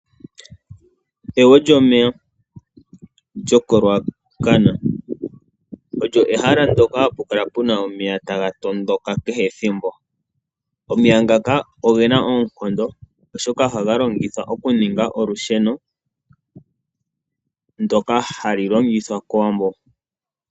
Egwo lyomeya lyo koRuacana Olyo ehala ndyoka hapu kala pu na omeya taga tondoka kehe ethimbo. Omeya ngaka oge na oonkondo, oshoka ohaga longithwa okuninga olusheno, ndoka halu longithwa kOwambo.